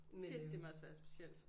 Shit det må også være specielt